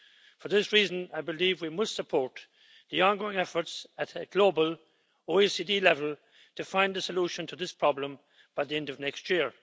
For this reason, I believe we must support the ongoing efforts at global, OECD level to find a solution to this problem by the end of next year.